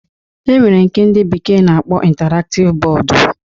E nwere nke ndị bekee na-akpọ intaraktiv bọọdu